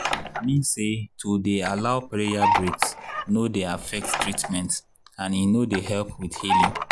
i mean say to dey allow prayer breaks no dey affect treament and e no dy help with healing.